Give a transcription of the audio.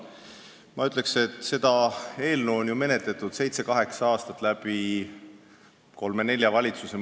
Ma ütleksin, et seda eelnõu on menetletud seitse-kaheksa aastat kolme-nelja valitsuse ajal.